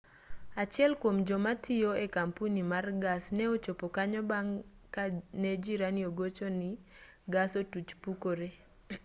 achiel kuom jomatiyo e kampuni mar gas ne ochopo kanyo bang' kane jirani ogochoni gas otuch pukore